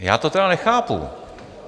Já to tedy nechápu.